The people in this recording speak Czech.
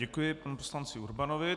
Děkuji panu poslanci Urbanovi.